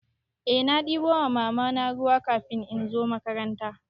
Eh na ɗebo wa Mamana ruwa kafin in zo makaranta.